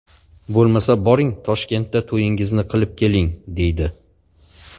Bo‘lmasa, boring Toshkentda to‘yingizni qilib keling”, deydi.